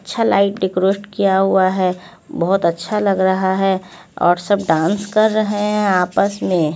छह light decorate किया हुआ है बहोत अच्छा लग रहा है और सब डांस कर रहे है आपस में--